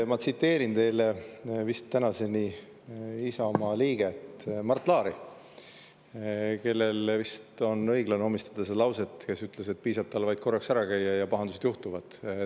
Ma tsiteerin teile vist tänaseni Isamaa liiget Mart Laari, kellele vist on õige omistada see lause, et piisab tal vaid korraks ära käia, ja pahandused juhtuvad.